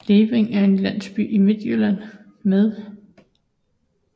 Levring er en landsby i Midtjylland med